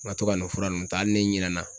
N ka to ka n'o fura ninnu ta hali ni n ɲinɛna